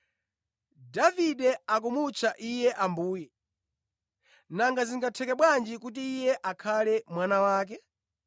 Davide akumutcha Iye ‘Ambuye.’ Nanga zingatheke bwanji kuti Iye akhale mwana wake?”